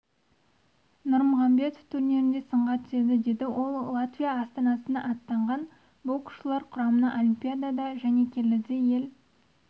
нұрмағамбетов турнирінде сынға түседі деді ол латвия астанасына аттанған боксшылар құрамына олимпиадада және келіде ел